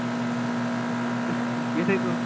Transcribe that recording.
ਕਿਹਦੇ ਕੋਲ